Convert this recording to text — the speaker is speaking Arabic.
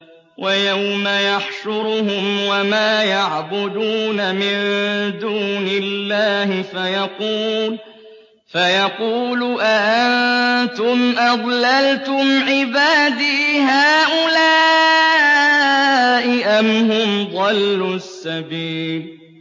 وَيَوْمَ يَحْشُرُهُمْ وَمَا يَعْبُدُونَ مِن دُونِ اللَّهِ فَيَقُولُ أَأَنتُمْ أَضْلَلْتُمْ عِبَادِي هَٰؤُلَاءِ أَمْ هُمْ ضَلُّوا السَّبِيلَ